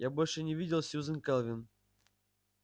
я больше не видел сьюзен кэлвин